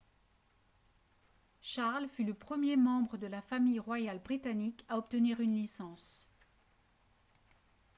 charles fut le premier membre de la famille royale britannique à obtenir une licence